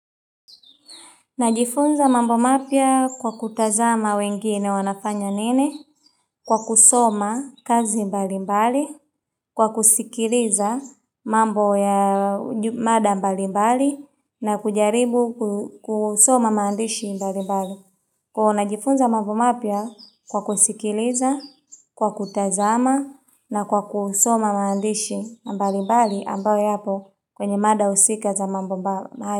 Najifunza mambo mapya kwa kutazama wengine wanafanya nini kwa kusoma kazi mbali mbali, kwa kusikiliza mambo ya mada mbali mbali na kujaribu kusoma maandishi mbali mbali. Kuwa najifunza mambo mapya kwa kusikiliza, kwa kutazama na kwa kusoma maandishi mbali mbali ambayo yapo kwenye mada husika za mambo mbali.